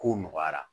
Kow nɔgɔyara